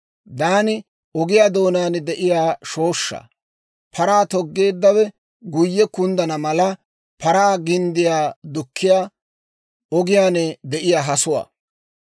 Daani ogiyaa doonaan de'iyaa shooshshaa; Paraa toggeeddawe guyye kunddana mala paraa ginddiyaa dukkiyaa, ogiyaan de'iyaa hasuwaa.